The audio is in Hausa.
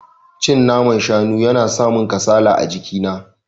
Cin naman shanu yana samin kasala a jiki na.